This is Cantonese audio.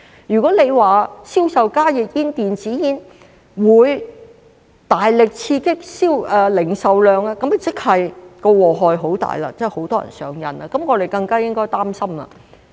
如果說銷售加熱煙和電子煙會大力刺激零售量，那麼即是禍害很大，有很多人上癮，這樣我們更加應該擔心。